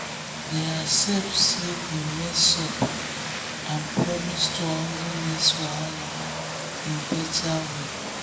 dem accept say dem mess up and promise to handle next wahala in better way.